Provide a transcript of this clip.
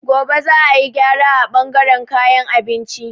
Gobe za a yi gyara a bangaren kayan abinci.